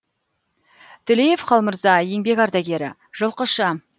төлеев қалмырза еңбек ардагері жылқышы